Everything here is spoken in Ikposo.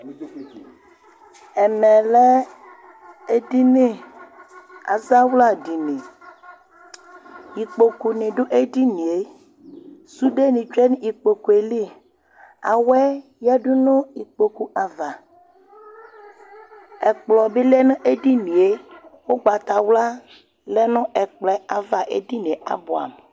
Ɛmɛ lɛ edini, azawladini, ikpokuni dù edinìe, sudeni tsue n'ikpokue li, awɛ yadu nu ikpoku ava, ɛkplɔ bi lɛ n'edinìe, ugbatawla lɛ nu ɛkplɔɛ ava edinìe abuamu